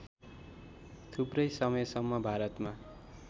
थुप्रै समयसम्म भारतमा